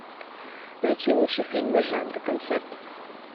найти лучшие фильмы жанра концерт